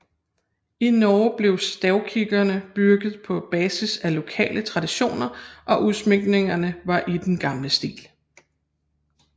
I Norge blev stavkirkerne bygget på basis af lokale traditioner og udsmykningerne var i den gamle stil